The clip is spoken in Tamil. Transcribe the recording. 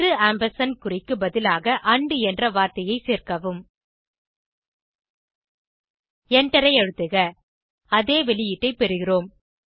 இரு ஆம்பர்சாண்ட் குறிக்கு பதிலாக ஆண்ட் என்ற வார்த்தையை சேர்க்கவும் எண்டரை அழுத்துக அதே வெளியீட்டை பெறுகிறோம்